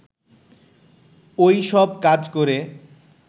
ও-ই সব কাজ করে